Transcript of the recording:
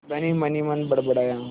धनी मनहीमन बड़बड़ाया